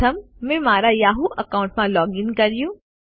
પ્રથમ મેં મારા યાહૂ એકાઉન્ટમાં લૉગ ઇન કર્યું